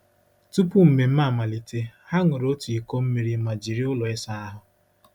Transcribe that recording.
Tupu mmemme amalite, ha ṅụrụ otu iko mmiri ma jiri ụlọ ịsa ahụ.